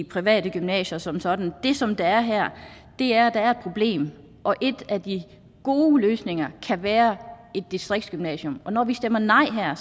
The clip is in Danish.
private gymnasier som sådan det som der er her er at der er et problem og en af de gode løsninger kan være distriktsgymnasier og når vi stemmer nej her er